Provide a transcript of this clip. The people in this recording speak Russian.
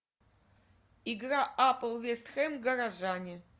игра апл вест хэм горожане